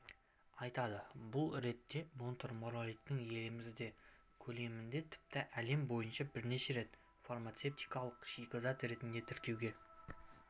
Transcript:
айтады бұл ретте монтмориллиониттің елімізде көлемінде тіпті әлем бойынша бірінші рет фармацевтикалық шикізат ретінде тіркеуге